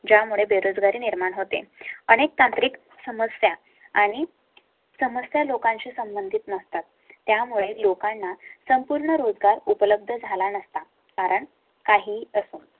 ज्या मुळे बेरोजगारी निर्माण होते. अनेक तांत्रिक समस्या आणि. समस्या लोकांशी संबंधित नसतात. त्यामुळे लोकांना संपूर्ण रोजगार उपलब्ध झाला नसता. कारण काही आसाम